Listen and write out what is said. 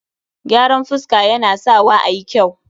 gyaran fuska Yana Sawa a yi kyau